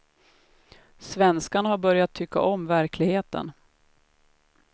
Svenskarna har börjat tycka om verkligheten.